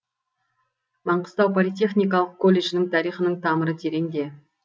маңғыстау политехникалық колледжінің тарихының тамыры тереңде